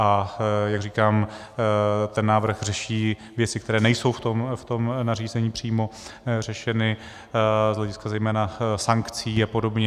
A jak říkám, ten návrh řeší věci, které nejsou v tom nařízení přímo řešeny z hlediska zejména sankcí a podobně.